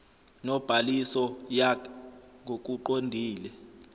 nobhaliso yakh ngokuqondile